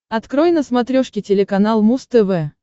открой на смотрешке телеканал муз тв